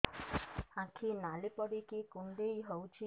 ଆଖି ନାଲି ପଡିକି କୁଣ୍ଡେଇ ହଉଛି